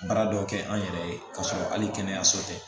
Baara dɔ kɛ an yɛrɛ ye k'a sɔrɔ hali kɛnɛyaso tɛ